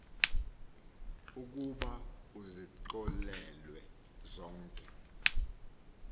ukuba uzixolelwe zonke